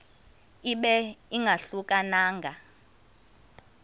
ibe ingahluka nanga